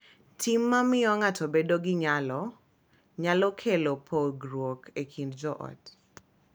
Tim ma miyo ng’ato bedo gi nyalo nyalo kelo pogruok e kind jo ot,